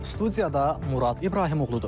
Studiyada Murad İbrahimoğludur.